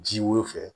Ji wo fɛ